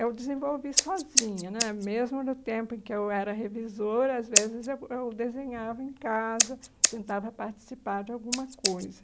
Eu desenvolvi sozinha né, mesmo no tempo em que eu era revisora, às vezes eu eu desenhava em casa, tentava participar de alguma coisa.